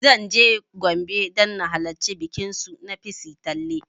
Zan je Gombe don na halarci bikin su na ''Pissi tanle''